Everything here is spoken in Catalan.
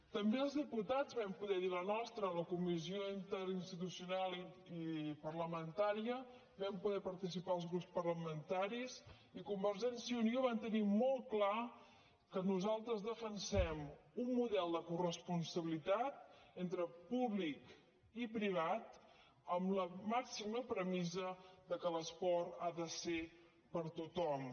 també els diputats vam poder dir la nostra a la comissió interinstitucional i parlamentària vam poder hi participar els grups parlamentaris i convergència i unió va tenir molt clar que nosaltres defensem un model de coresponsabilitat entre públic i privat amb la màxima premissa que l’esport ha de ser per a tothom